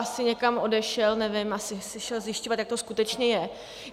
Asi někam odešel, nevím, asi si šel zjišťovat, jak to skutečně je.